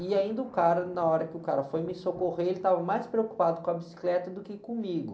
E ainda o cara, na hora que o cara foi me socorrer, ele estava mais preocupado com a bicicleta do que comigo.